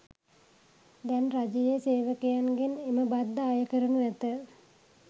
දැන් රජයේ සේවකයන්ගෙන් එම බද්ද අය කරනු ඇත.